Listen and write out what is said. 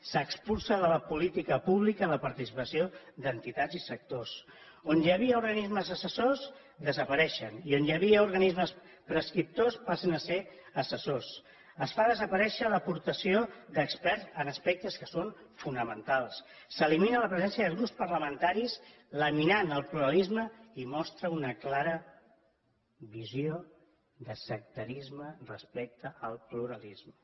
s’expulsa de la política pública la participació d’entitats i sectors on hi havia organismes assessors desapareixen i on hi havia organismes prescriptors passen a ser assessors es fa desaparèixer l’aportació d’experts en aspectes que són fonamentals s’elimina la presència de grups parlamentaris laminant el pluralisme i mostra una clara visió de sectarisme respecte al pluralisme